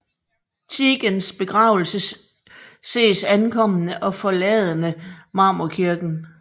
Tietgens begravelse ses ankommende og forladende Marmorkirken